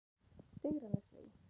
Digranesvegi